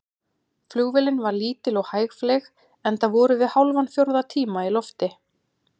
Flugvélin var lítil og hægfleyg, enda vorum við hálfan fjórða tíma í lofti.